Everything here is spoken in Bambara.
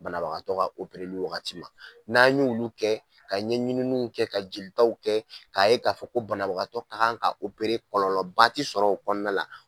Banabagatɔ ka opereli waagati ma, n'an y'olu kɛ ka ɲɛɲininw kɛ ka jeli taw kɛ, ka ye ka fɔ ko banabagatɔ ka kan ka kɔlɔlɔba t'i sɔrɔ o kɔnɔna la.